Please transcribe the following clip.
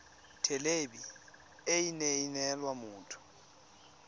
thelebi ene e neela motho